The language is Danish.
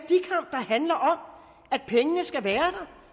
handler om at pengene skal være